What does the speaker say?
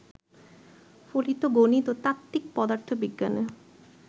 ফলিত গণিত ও তাত্ত্বিক পদার্থবিজ্ঞানে